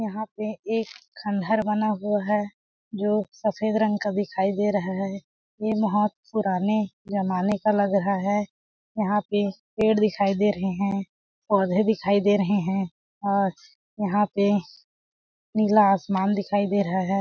यहाँ पे एक खंडर बना हुआ है जो सफ़ेद रंग का दिखाई दे रहा है ये बहुत पुराने ज़माने का लग रहा है यहाँ पे पेड़ दिखाई दे रहे है पौधे दिखाई दे रहे है और यहाँ पे नीला आसमान दिखाई दे रहा हैं।